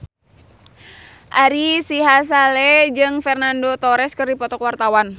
Ari Sihasale jeung Fernando Torres keur dipoto ku wartawan